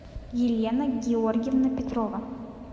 елена георгиевна петрова